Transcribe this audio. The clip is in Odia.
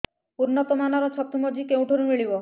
ଉନ୍ନତ ମାନର ଛତୁ ମଞ୍ଜି କେଉଁ ଠାରୁ ମିଳିବ